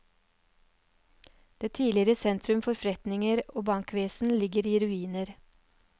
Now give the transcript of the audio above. Det tidligere sentrum for forretninger og bankvesen ligger i ruiner.